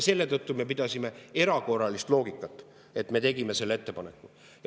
Selle tõttu me pidasime silmas erakorralist loogikat ja tegime selle ettepaneku.